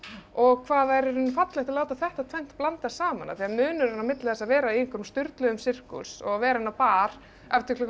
og hvað það er í rauninni fallegt að láta þetta tvennt blandast saman af því að munurinn á milli þess að vera í einhverjum sturluðum sirkus og vera inn á bar eftir klukkan